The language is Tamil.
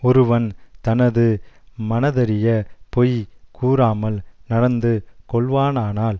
ஒருவன் தனது மனதறியப் பொய் கூறாமல் நடந்து கொள்வானானால்